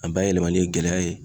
A bayɛlɛmali ye gɛlɛya ye.